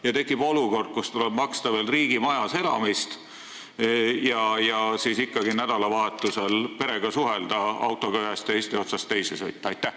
Siis tekib ju olukord, kus tuleb maksta riigimajas elamise eest ja nädalavahetusel perega suhtlemiseks autoga ühest Eesti otsast teise sõita.